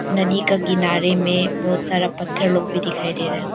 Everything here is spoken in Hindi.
नदी का किनारे में बहोत सारा पत्थर लोग भी दिखाई दे रहा है।